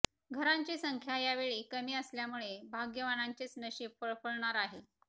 घरांची संख्या यावेळी कमी असल्यामुळे भाग्यवानांचेच नशीब फळफळणार आहे